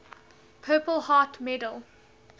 purple heart medal